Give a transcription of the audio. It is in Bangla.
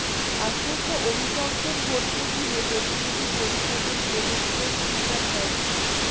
আসন্ন অভিশংসন ভোটকে ঘিরে প্রতিনিধি পরিষদের ডেমোক্র্যাট স্পিকার ন্যান্সি